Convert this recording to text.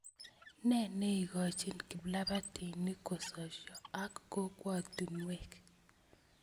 Ne neigochin kiplapatinik kososyo ak kokowotinwek?